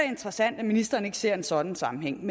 interessant at ministeren ikke ser en sådan sammenhæng